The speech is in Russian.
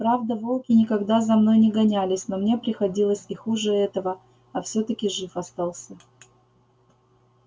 правда волки никогда за мной не гонялись но мне приходилось и хуже этого а всё таки жив остался